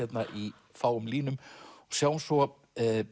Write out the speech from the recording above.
í fáum línum sjáum svo